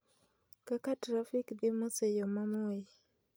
kaka trafik dhi mos e yo ma moi